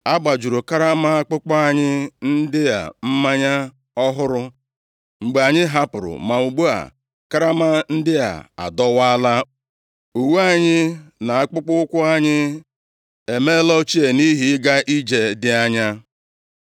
A gbajuru karama akpụkpọ anyị ndị a mmanya ọhụrụ mgbe anyị hapụrụ, ma ugbu a, karama ndị a adọwaala. Uwe anyị, na akpụkpọụkwụ anyị, emeela ochie nʼihi ịga ije dị anya.”